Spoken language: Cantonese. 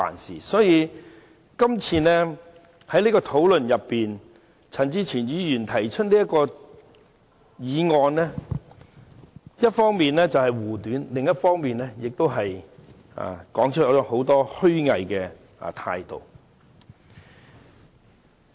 在這次辯論中，陳志全議員提出的議案，一方面是為了護短，另一方面是顯露了其虛偽態度。